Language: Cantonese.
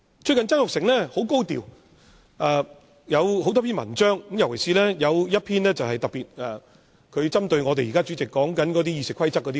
最近曾鈺成十分高調，撰寫了多篇文章，其中一篇特別針對現任主席對《議事規則》的言論。